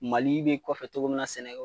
Mali i b'i kɔfɛ togo min na sɛnɛ